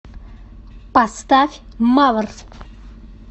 поставь мавр